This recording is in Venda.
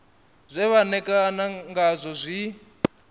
zwe vha ṋekana ngazwo zwi